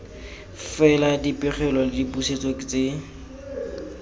fela dipegelo le dipusetso tse